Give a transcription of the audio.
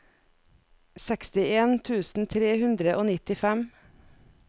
sekstien tusen tre hundre og nittifem